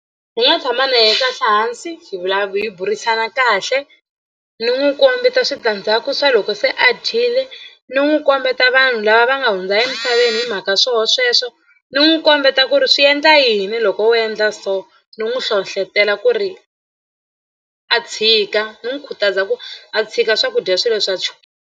Ni nga tshama na yehe kahle hansi hi hi burisana kahle ni n'wi kombeta switandzhaku swa loko se a dyile ni n'wi kombeta vanhu lava va nga hundza emisaveni hi mhaka swoho sweswo ni n'wi kombeta ku ri swi endla yini loko wo endla so ni n'wi hlohlotela ku ri a tshika ni n'wi khutaza ku a tshika swakudya swilo swa .